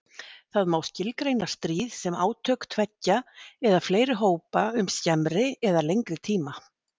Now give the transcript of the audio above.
Það má skilgreina stríð sem átök tveggja eða fleiri hópa um skemmri eða lengri tíma.